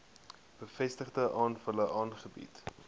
bevestigde gevalle aangebied